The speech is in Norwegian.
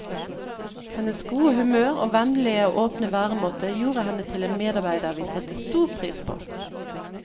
Hennes gode humør og vennlige og åpne væremåte gjorde henne til en medarbeider vi satte stor pris på.